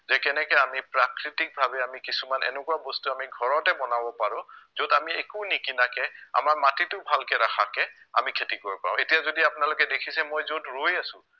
যে কেনেকে আমি প্ৰাকৃতিকভাৱে আমি কিছুমান এনেকুৱা বস্তু আমি ঘৰতে বনাব পাৰো য'ত আমি একো নিকিনাকে আমাৰ মাটিটো ভালকে ৰাখাকে আমি খেতি কৰিব পাৰো এতিয়া যদি আপোনালোকে দেখিছে মই য'ত ৰৈ আছো